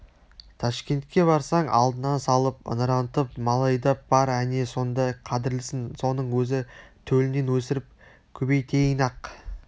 ташкентке барсаң алдыңа салып ыңырантып мал айдап бар әне сонда қадірлісің соның өзін төлінен өсіріп көбейтейін-ақ